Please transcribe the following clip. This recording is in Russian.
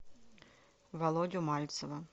володю мальцева